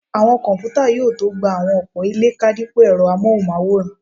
Àwọn kọ̀mpútà yóò tó gba àwọn ọ̀pọ̀ ilé ká dípò ẹ̀rọ amóhùnmáwòrán